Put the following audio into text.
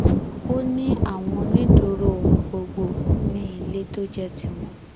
ó ní àwọn onídùúró ọ̀hún gbọ́dọ̀ ní ilé tó jẹ́ tiwọn